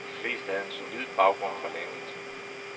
De fleste havde en solid baggrund fra landet.